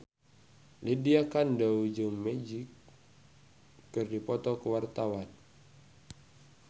Lydia Kandou jeung Magic keur dipoto ku wartawan